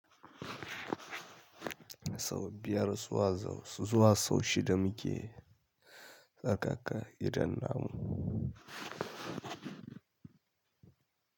Sau biyar su wa sau, su zuwa sau shida muke tsarkaka gidan namu.